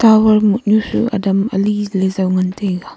tower ngotnu su adam ali ley jaw ngan taiga.